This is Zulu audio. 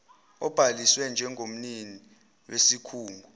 obhaliswe njengomnini wesikhungo